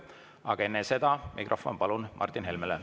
Aga enne seda mikrofon palun Martin Helmele.